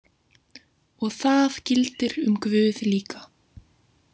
Og það gildir um guð líka.